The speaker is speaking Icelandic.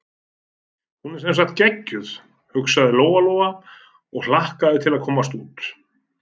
Hún er sem sagt geggjuð, hugsaði Lóa-Lóa og hlakkaði til að komast út.